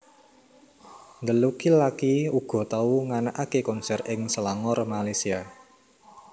The Lucky laki uga tau nganakaké konser ing Selangor Malaysia